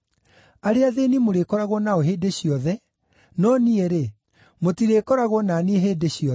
Arĩa athĩĩni mũrĩkoragwo nao hĩndĩ ciothe, no niĩ-rĩ, mũtirĩkoragwo na niĩ hĩndĩ ciothe.